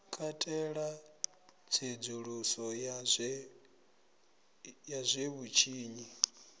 katela tsedzuluso ya zwe vhutshinyi